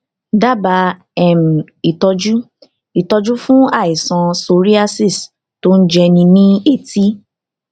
dábàá um ìtọjú ìtọjú fún àìsàn psoriasis tó ń jẹni ní etí